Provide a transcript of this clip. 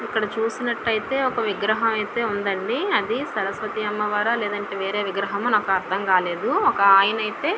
ఇక్కడ చూసినట్టయితే ఒక విగ్రహం అయితే ఉందండి అది సరస్వతీ అమ్మవారు లేదంటే వేరే విగ్రహము నాకు అర్థం కాలేదు ఒక ఆయన అయితే --